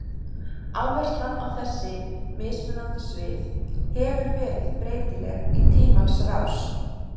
Áherslan á þessi mismunandi svið hefur verið breytileg í tímans rás.